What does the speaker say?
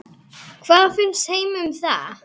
Hvað finnst Heimi um það?